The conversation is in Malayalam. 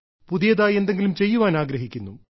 പുതിയതായി എന്തെങ്കിലും ചെയ്യാൻ ആഗ്രഹിക്കുന്നു